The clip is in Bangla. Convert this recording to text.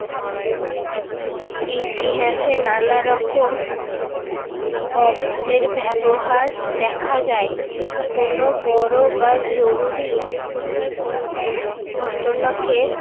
ইতিহাসে নানা রকম অব্দের ব্যবহার দেখা যায়। কোনো বড় বা জরুরি ঘটনাকে